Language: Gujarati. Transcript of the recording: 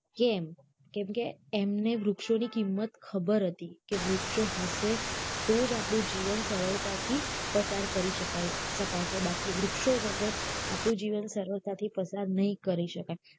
કેમ કેમકે એમને વૃક્ષો ની કિંમત ખબર હતી કે વૃક્ષો હશે તો જ આપણું જીવન સરળતા થી પસાર કરી શકાય શકાશે બાકી વૃક્ષો વગર આપણું જીવન સરળતાથી પસાર નહિ કરી શકાય